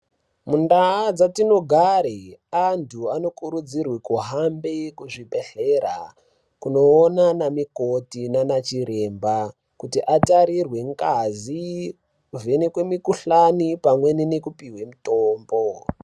Mu ndau dzatino gare antu ano kurudzirwe ku hambe ku chibhedhlera kuno ona ma mukoti nana chiremba kuti atarirwe ngazi ku vhenekwe mu kuhlani pamwe neku puhwe mutombo.